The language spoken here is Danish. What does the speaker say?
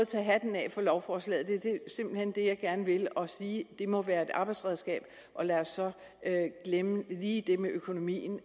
tage hatten af for lovforslaget det er simpelt hen det jeg gerne vil og sige at det må være et arbejdsredskab og lad os så glemme lige det med økonomien